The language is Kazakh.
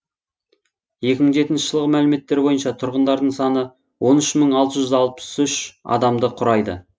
екі мың жетінші жылғы мәліметтер бойынша тұрғындарының саны он үш мың алты жүз алпыс үш адамды құрайды